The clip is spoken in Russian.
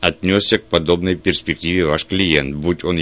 отнёсся к подобной перспективе ваш клиент будь он